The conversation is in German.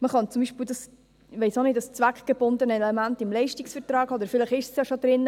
Man könnte beispielsweise das zweckgebundene Element im Leistungsvertrag festhalten, oder vielleicht ist es schon drin.